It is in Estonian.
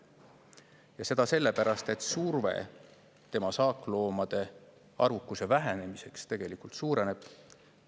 Ja seda sellepärast, et surve tema saakloomade arvukuse vähenemisele suureneb.